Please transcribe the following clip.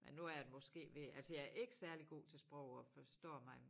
Men nu er jeg måske ved altså jeg ikke særlig god til sprog og forstår mig